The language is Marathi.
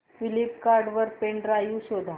फ्लिपकार्ट वर पेन ड्राइव शोधा